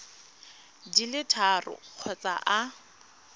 di le tharo kgotsa a